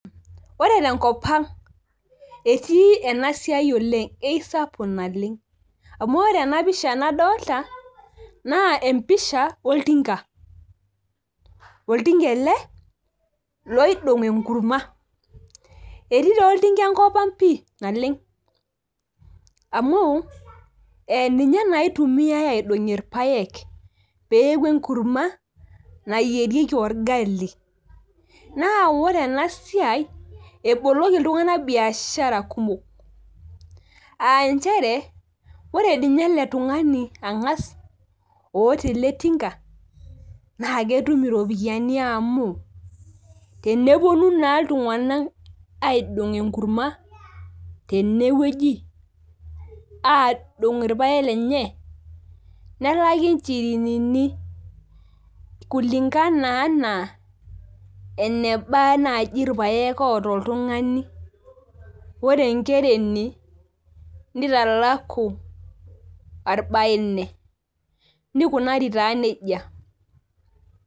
Wore tenkop ang', etii enasiai oleng' eisapuk naleng. Amu wore ena pisha nadoolta, naa empisha oltinga. Oltinga ele oidong enkurma. Etii taa oltinga enkop ang' pii naleng. Amu, ninye naa itumiyiai aidongie irpaek, pee eaku enkurma nayierieki orgali. Naa wore ena siai, eboloki iltunganak biashara kumok. Aa nchere wore ninye ele tungani angas, oata ele tinga, naa ketum iropiyani amuu, teneponu naa iltunganak aidong enkurma, tenewoji, aaidong irpaek lenye, nelaki inchirinini. Kulingana enaa enaba naaji irpaek oata oltungani. Wore enkereni, nitalaku arubaine, nikunari taa nejia.